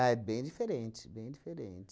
Ah, é bem diferente, bem diferente.